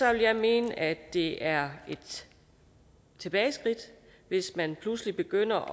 jeg mene at det er et tilbageskridt hvis man pludselig begynder